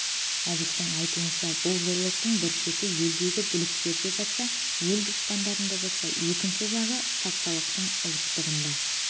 әбіштің айтуынша бұл зорлықтың бір шеті елдегі бұліктерде жатса ел дұшпандарыңда жатса екінші жағы патшалықтың ұлықтарында